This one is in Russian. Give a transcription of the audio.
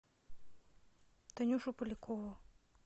танюшу полякову